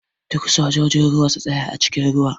Duk sojojin ruwa su tsaya a cikin ruwa!